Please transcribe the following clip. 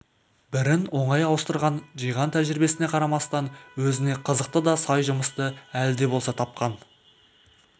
бірін оңай ауыстырған жиған тәжірибесіне қарамастан өзіне қызықты да сай жұмысты әлі де болса тапқан